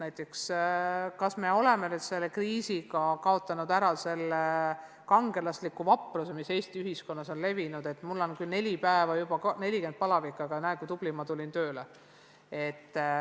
Näiteks, kas me oleme selle kriisi käigus saanud lahti sellest kangelaslikust vaprusest, mis Eesti ühiskonnas on levinud, et mul on küll neljandat päeva 40 kraadi palavikku, aga näe, kui tubli ma olen, tulin ikka tööle.